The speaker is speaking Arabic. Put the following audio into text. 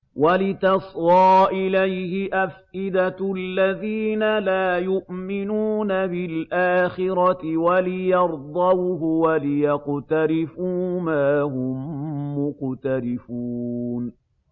وَلِتَصْغَىٰ إِلَيْهِ أَفْئِدَةُ الَّذِينَ لَا يُؤْمِنُونَ بِالْآخِرَةِ وَلِيَرْضَوْهُ وَلِيَقْتَرِفُوا مَا هُم مُّقْتَرِفُونَ